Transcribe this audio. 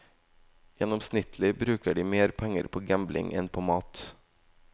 Gjennomsnittlig bruker de mer penger på gambling enn på mat.